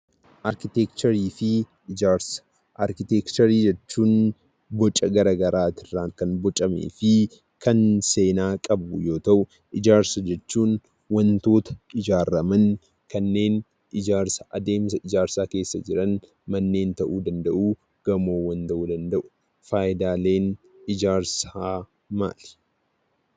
Arkiteekcharii jechuun boca garaa garaati irraan kan bocamee fi kan seenaa qabu yoo ta'u, ijaarsa jechuun immoo wantoota ijaaraman kanneen adeemsa ijaarsaa keessa jiran: manneen, gamoowwan ta'uu danda'u. Faayidaaleen ijaarsaa maali?